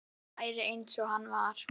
Þó hann væri eins og hann var.